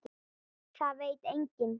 Það veit enginn